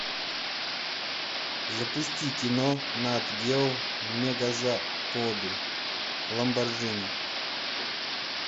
запусти кино нат гео мегазаводы ламборджини